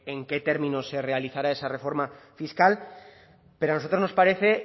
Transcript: en qué términos se realizará esa reforma fiscal pero a nosotros nos parece